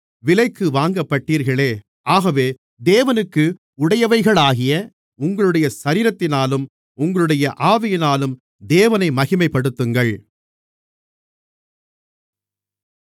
விலைக்கு வாங்கப்பட்டீர்களே ஆகவே தேவனுக்கு உடையவைகளாகிய உங்களுடைய சரீரத்தினாலும் உங்களுடைய ஆவியினாலும் தேவனை மகிமைப்படுத்துங்கள்